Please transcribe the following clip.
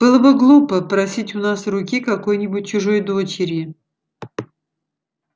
было бы глупо просить у нас руки какой-нибудь чужой дочери